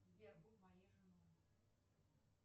сбер будь моей женой